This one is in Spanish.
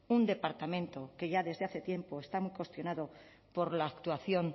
un departamento que ya desde hace tiempo está cuestionado por la actuación